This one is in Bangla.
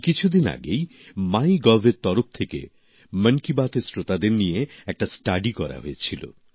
এই কিছুদিন আগেই মাইগভের তরফ থেকে মন কি বাত এর শ্রোতাদের নিয়ে একটা সমীক্ষা করা হয়েছিল